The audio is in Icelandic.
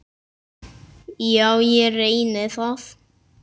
Já, ég reyni það.